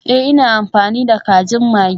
Ee, ina amfani da kajin maggi.